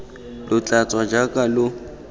lo tla tswa jaaka lo